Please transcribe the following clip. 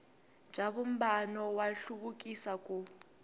bya vumbano wa nhluvukiso ku